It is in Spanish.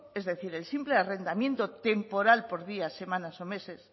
es decir el simple arrendamiento temporal por días semanas o meses